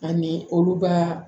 Ani olu b'a